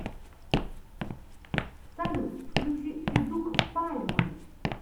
салют включи федук пальмы